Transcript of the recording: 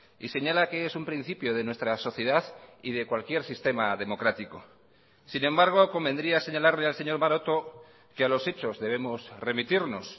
y señala que es un principio de nuestra sociedad y de cualquier sistema democrático sin embargo convendría señalarle al señor maroto que a los hechos debemos remitirnos